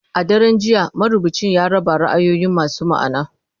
A daren jiya, marubucin ya raba ra'ayoyi masu ma'ana.